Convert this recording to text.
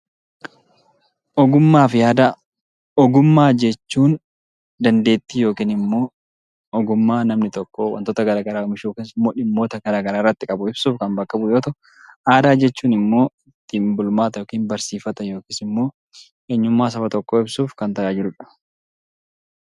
Ogummaa fi aadaa Ogummaa jechuun dandeettii yookaan ogummaa namni tokko waa oomishuu irratti qabu kan ibsu yoo ta'u, aadaa jechuun immoo ittiin bulmaata yookaan barsiifata akkasumas immoo eenyummaa saba tokkoo ibsuuf kan tajaajiludha.